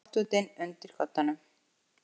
Náttfötin undir koddanum.